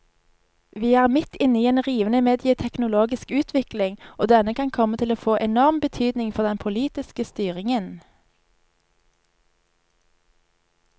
Vi er midt inne i en rivende medieteknologisk utvikling, og denne kan komme til å få enorm betydning for den politiske styringen.